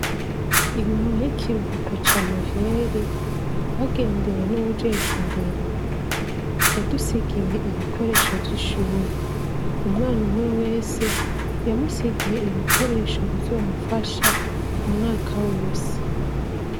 Inyuma y'ikiruhuko ca noheri, twagendewe n'uwujejwe indero. Yadusigiye ibikoresho vy'ishure. Umwana umwe wese, yamusigiye ibikoresho bizomufasha, umwaka wose.